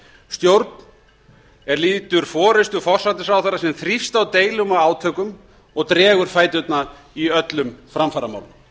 stjórn er lýtur forustu forsætisráðherra sem þrífst á deilum og átökum og dregur fæturna í öllum framfaramálum